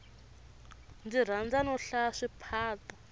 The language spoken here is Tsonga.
ndzi rhandza no hlaya swiphato